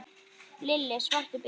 Lítill, svartur bíll.